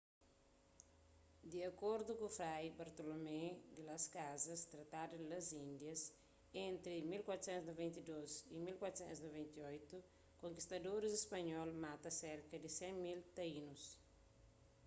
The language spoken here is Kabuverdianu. di akordu ku fray bartolomé di las casas tratado di las indias entri 1492 y 1498 konkistadoris spanhol mata serka di 100.000 taínus